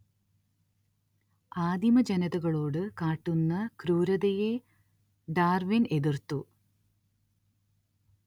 ആദിമജനതകളോടു കാട്ടുന്ന ക്രൂരതയെ ഡാർവിൻ എതിർത്തു